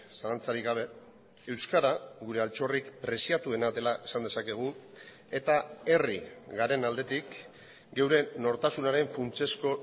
zalantzarik gabe euskara gure altxorrik preziatuena dela esan dezakegu eta herri garen aldetik geure nortasunaren funtsezko